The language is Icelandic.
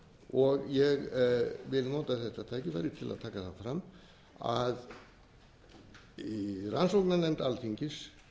og ég vil nota þetta tækifæri til að taka það fram að rannsóknarnefnd alþingis